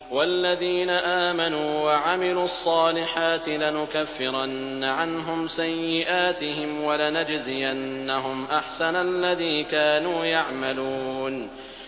وَالَّذِينَ آمَنُوا وَعَمِلُوا الصَّالِحَاتِ لَنُكَفِّرَنَّ عَنْهُمْ سَيِّئَاتِهِمْ وَلَنَجْزِيَنَّهُمْ أَحْسَنَ الَّذِي كَانُوا يَعْمَلُونَ